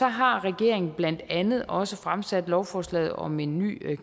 har regeringen blandt andet også fremsat lovforslag om en ny